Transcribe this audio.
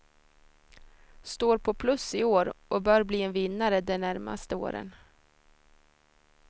Står på plus i år och bör bli en vinnare de närmaste åren.